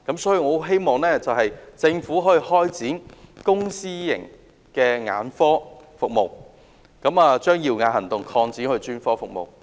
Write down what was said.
所以，我希望政府擴展公私營眼科服務，將"耀眼行動"擴展到其他專科服務。